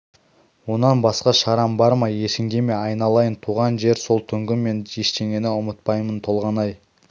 онан басқа шарам бар ма есіңде ме айналайын туған жер сол түнгі мен ештеңені ұмытпаймын толғанай